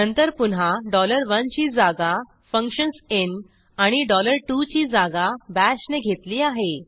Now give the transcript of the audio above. नंतर पुन्हा डॉलर 11 ची जागा फंक्शन्स इन आणि डॉलर 22ची जागा Bashने घेतली आहे